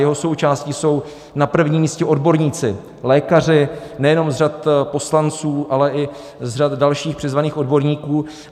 Jeho součástí jsou na prvním místě odborníci, lékaři nejenom z řad poslanců, ale i z řad dalších přizvaných odborníků.